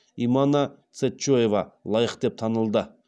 имана цечоева лайық деп танылды